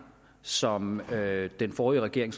som den forrige regering